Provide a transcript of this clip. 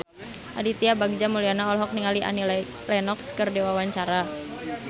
Aditya Bagja Mulyana olohok ningali Annie Lenox keur diwawancara